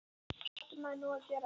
Hvað átti maður nú að gera?